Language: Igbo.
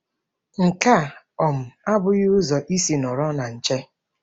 Nke a um abụghị ụzọ isi nọrọ na nche.